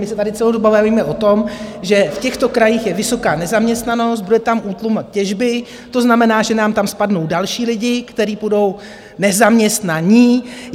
My se tady celou dobu bavíme o tom, že v těchto krajích je vysoká nezaměstnanost, bude tam útlum těžby, to znamená, že nám tam spadnou další lidé, kteří budou nezaměstnaní.